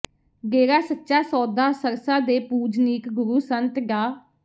ਡੇਰਾ ਸੱਚਾ ਸੌਦਾ ਸਰਸਾ ਦੇ ਪੂਜਨੀਕ ਗੁਰੂ ਸੰਤ ਡਾ